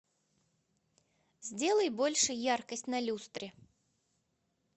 сделай больше яркость на люстре